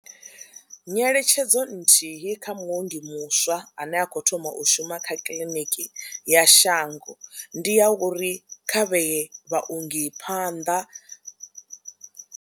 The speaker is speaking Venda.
Nyeletshedzo nthihi kha muongi muswa ane a khou thoma u shuma kha kiḽiniki ya shango ndi ya uri kha vhee vhaongi phanḓa.